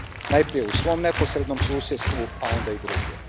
Najprije u svom neposrednom susjedstvu, a onda i drugdje.